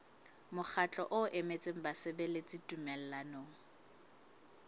mokgatlo o emetseng basebeletsi tumellanong